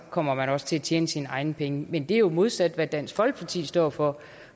kommer man også til at tjene sine egne penge men det er jo det modsatte af hvad dansk folkeparti står for